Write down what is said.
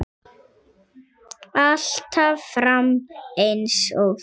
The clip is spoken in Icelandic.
Alltaf fram eins og þú.